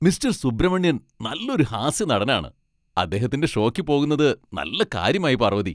Mister Subramanian നല്ലൊരു ഹാസ്യനടനാണ്. അദ്ദേഹത്തിന്റെ ഷോയ്ക്ക് പോകുന്നത് നല്ല കാര്യമായി, പാർവതി.